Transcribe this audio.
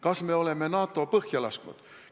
Kas me oleme NATO põhja lasknud?